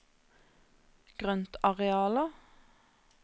grøntarealer